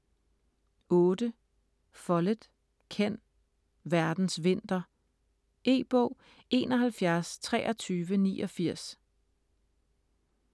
Follett, Ken: Verdens vinter E-bog 712389